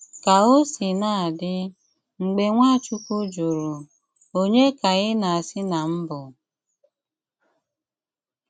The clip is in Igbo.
Kà ò sìnà dị, mgbè Nwáchùkwù jụrụ, “Ònye ka ị na-asị ná m bụ́?”